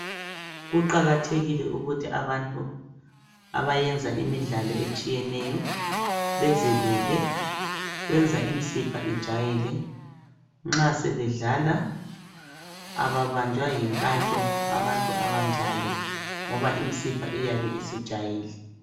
Kuqakathekile ukuthi abantu abayenza imidlalo etshiyeneyo bezelule kuyenza imisipha ijayele nxa sebedlala ababanjwa yinkantsho abantu abanjalo ngoba imisipha iyabe isijayele